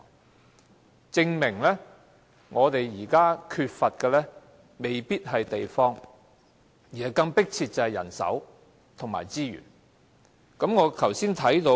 由此證明，我們現在所缺乏的未必是地方，人手和資源有更迫切需要。